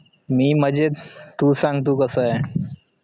मी मजेत तू सांग तु कसा ए